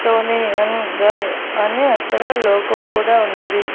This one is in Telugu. టోనీ యంగ్ గాయ్ అని అక్కడ లోగో కూడా ఉన్నది.